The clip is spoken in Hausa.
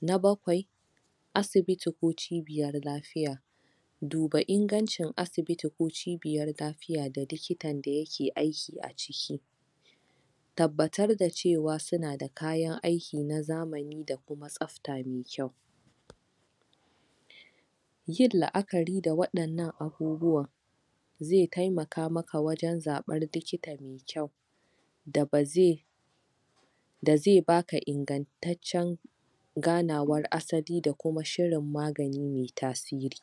na bakwai asibiti ko cibiyar lafiya duba ingancin asibiti ko cibiyar lafiyan da likitan da yake aiki a ciki tabbatar da cewa suna da kayan aiki na zamani da kuma tsabta mai kyau yin la'akari da waɗannan abubuwan zai taimaka maka wajen zaɓen likita da ba zai da zai baka ingataccen ganawan asali da kuma shirin magani mai tasiri